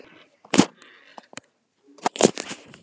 Sara Björk Gunnarsdóttir Besti íþróttafréttamaðurinn?